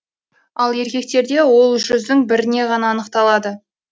ал еркектерде ол жүздің бірінен ғана анықталады